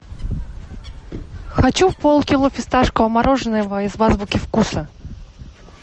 хочу полкило фисташкового мороженого из азбуки вкуса